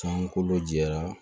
San kolo jɛra